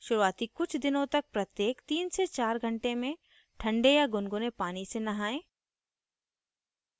शुरूआती कुछ दिनों तक प्रत्येक 3 से 4 घंटे में ठन्डे या गुनगुने पानी से नहाएं